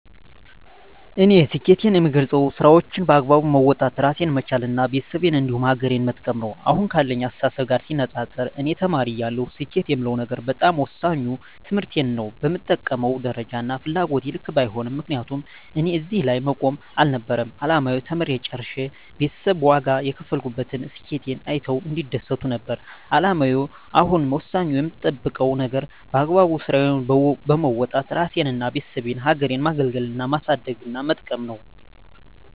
እኔ ስኬትን የምገልፀው ስራዎቸን በአግባቡ መወጣት እራሴን መቻል እና ቤተሰቤን እንዲሁም ሀገሬን መጥቀም ነው። አሁን ካለኝ አስተሳሰብ ጋር ሲነፃፀር እኔ ተማሪ እያለሁ ስኬት የምለው ነገር በጣም ወሳኙ ትምህርቴን ነው በምጠብቀው ደረጃና ፍላጎቴ ልክ ባይሄድም ምክንያቱም እኔ እዚህ ላይ መቆም አልነበረም አላማዬ ተምሬ ጨርሸ ቤተሰብ ዋጋ የከፈሉበትን ስኬቴን አይተው እንዲደሰቱ ነበር አላማዬ አሁን ወሳኙ የምጠብቀው ነገር በአግባቡ ስራዬን በወጣት እራሴንና የቤተሰቤን ሀገሬን ማገልገልና ማሳደግና መጥቀም ነው።